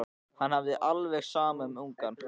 Henni hafði verið alveg sama um ungann.